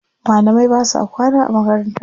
Malamai ba sa kwana a makaranta.